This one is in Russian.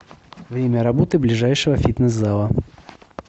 время работы ближайшего фитнес зала